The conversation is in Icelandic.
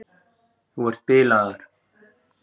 Þú ert bilaður!